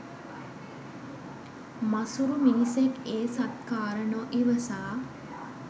මසුරු මිනිසෙක් ඒ සත්කාර නො ඉවසා